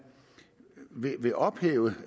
vil ophæve